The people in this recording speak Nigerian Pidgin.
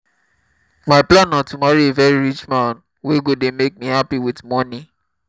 my plan na to marry a very rich man wey go dey make me happy with money